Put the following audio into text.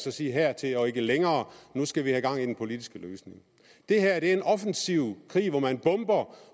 og sige hertil og ikke længere nu skal vi have gang i den politiske løsning det her er en offensiv krig hvor man bomber